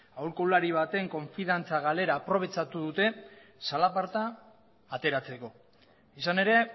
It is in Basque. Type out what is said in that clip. aholkulari baten konfidantza galera aprobetxatu dute zalaparta ateratzeko izan ere